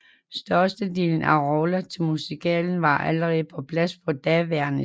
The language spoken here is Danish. Størstedelen af roller til musicalen var allerede på plads på daværende tidspunkt